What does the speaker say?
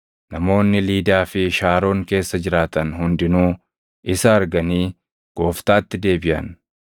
Namoonni Liidaa fi Shaaroon keessa jiraatan hundinuu isa arganii Gooftaatti deebiʼan.